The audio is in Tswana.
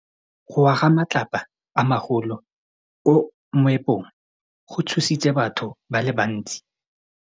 Go wa ga matlapa a magolo ko moepong go tshositse batho ba le bantsi.